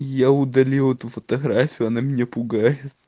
я удалил эту фотографию она меня пугает